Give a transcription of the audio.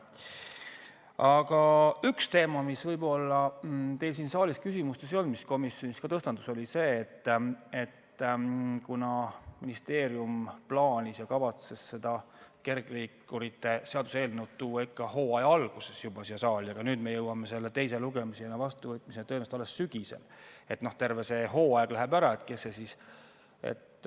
Aga üks teemasid, mida võib-olla teil siin saalis küsimustes ei olnud, aga mis komisjonis ka tõstatus, oli see, et ministeerium plaanis ja kavatses kergliikurite seaduse eelnõu tuua ikka hooaja alguses juba siia saali, aga nüüd me jõuame selle teisele lugemisele ja vastuvõtmisele tõenäoliselt alles sügisel, terve hooaeg läheb ära.